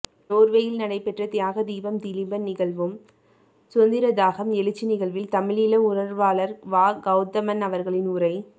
நோர்வேயில் நடைபெற்ற தியாகதீபம் திலீபன் நிகழ்வும் சுதந்திரதாகம் எழுச்சி நிகழ்வில் தமிழீழ உணர்வாளர் வா கௌதமன் அவர்களின் உரை